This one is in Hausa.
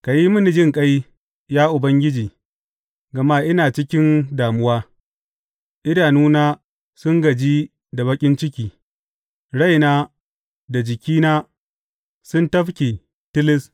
Ka yi mini jinƙai, ya Ubangiji, gama ina cikin damuwa; idanuna sun gaji da baƙin ciki, raina da jikina sun tafke tilis.